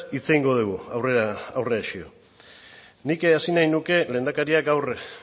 hitz egingo dugu aurrerago nik hasi nahi nuke lehendakariak gaur goiz